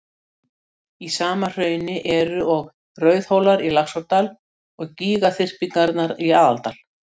Niðurstaðan varð sú að ég fékk til umfjöllunar ljóð eftir danska skáldið